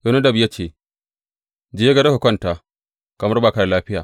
Yonadab ya ce, Je gado ka kwanta kamar ba ka da lafiya.